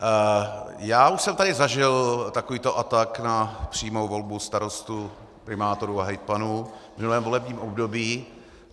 Já už jsem tady zažil takovýto atak na přímou volbu starostů, primátorů a hejtmanů v minulém volebním období.